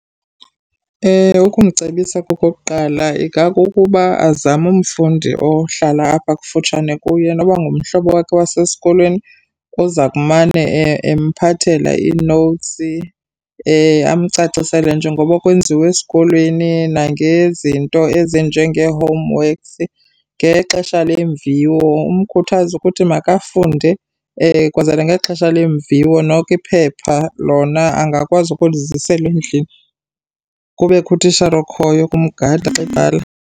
Ukumcebisa okokuqala ingakukuba azame umfundi ohlala apha kufutshane kuye noba ngumhlobo wakhe wasesikolweni oza kumane emphathela ii-notes amcacisele njengoba kwenziwe esikolweni, nangezinto ezinjengee-homeworks. Ngexesha lemviwo umkhuthaze ukuthi makafunde kwenzela ngexesha leemviwo noko iphepha lona angakwazi ukuliziselwa endlini, kubekho utishala okhoyo ukumgada xa ebhala.